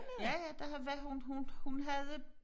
Ja ja der var hun hun hun havde